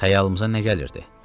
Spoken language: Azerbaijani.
Xəyalımıza nə gəlirdi?